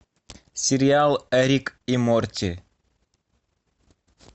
сериал рик и морти